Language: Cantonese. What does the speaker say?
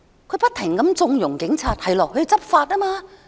她不停縱容警察，說他們要執法。